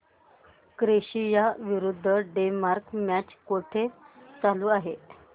Croatia विरुद्ध Denmark match कुठे चालू आहे